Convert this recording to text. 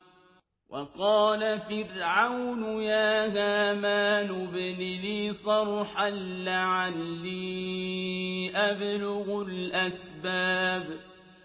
وَقَالَ فِرْعَوْنُ يَا هَامَانُ ابْنِ لِي صَرْحًا لَّعَلِّي أَبْلُغُ الْأَسْبَابَ